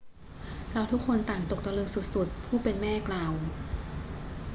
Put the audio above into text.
เราทุกคนต่างตกตะลึงสุด ๆ ผู้เป็นแม่กล่าว